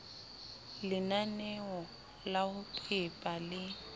lenaneo la ho pepa le